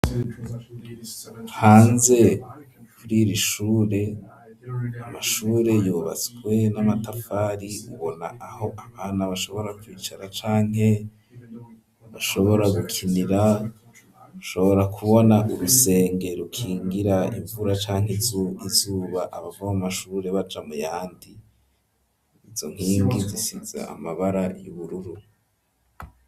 Hanze kuri iri shure, amashure yubatswe n'amatafari, ubona aho abana bashobora kwicara canke bashobora gukinira, ushobora kubona urusenge rukingira imvura canke izuba, abava mu mashure baja mu yandi; izo nkingi zisize amabara y'ubururu.